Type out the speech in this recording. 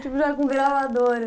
Tipo, já com gravadora.